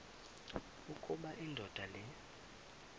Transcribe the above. ukuba indoda le